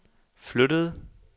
flyttede